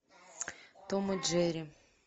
том и джерри